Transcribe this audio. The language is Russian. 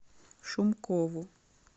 шумкову